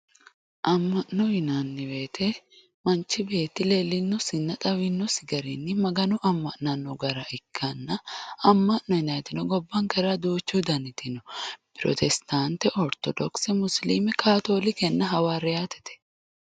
Ama'no yinanni woyte manchi beetti leelinosinna xawinosi garinni Magano ama'nano gara ikkanna ama'no yinanniti gobbankera duuchu daniti no pirostate orthodokise musilime kaattolikenna hawaariyatete.